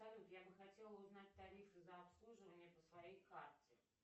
салют я бы хотела узнать тарифы за обслуживание по своей карте